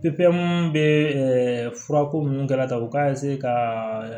bɛ furako minnu kɛ la ta u k'a ka